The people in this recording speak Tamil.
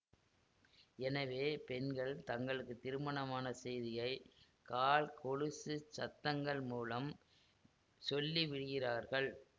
எனவே பெண்கள் தங்களுக்கு திருமணமான செய்தியை கால் கொலுசுச் சத்தங்கள் மூலம் சொல்லிவிடுகிறார்கள்